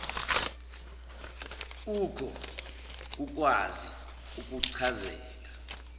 kukho kukwazi ukuchazeka